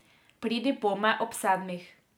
Pridi pome ob sedmih.